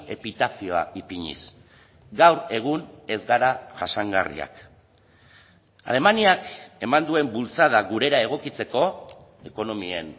epitafioa ipiniz gaur egun ez gara jasangarriak alemaniak eman duen bultzada gurera egokitzeko ekonomien